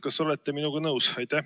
Kas olete minuga nõus?